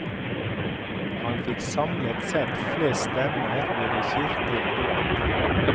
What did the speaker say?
Han fikk samlet sett flest stemmer ved de kirkelige valg.